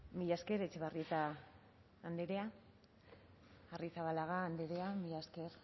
mila esker etxebarrieta andrea arrizabalaga andrea mila esker